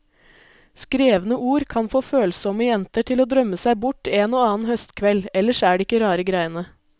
Skrevne ord kan få følsomme jenter til å drømme seg bort en og annen høstkveld, ellers er det ikke rare greiene.